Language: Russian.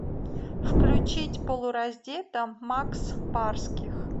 включить полураздета макс барских